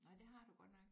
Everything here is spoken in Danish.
Nå det har du godt nok